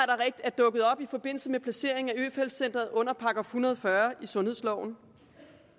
er dukket op i forbindelse med placeringen af øfeldt centret under § en hundrede og fyrre i sundhedsloven